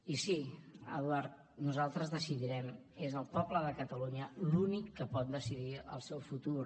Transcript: i sí eduard nosaltres decidirem és el poble de catalunya l’únic que pot decidir el seu futur